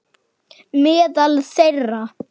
Meðal þeirra